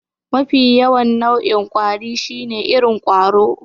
Mafi yawan nau'in kwari shine irin ƙwaro.